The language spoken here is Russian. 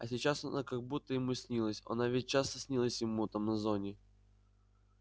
а сейчас она как будто ему снилась она ведь часто снилась ему там на зоне